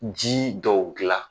Ji dɔw gilan